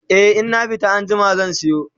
e in na fita anjima zan sayo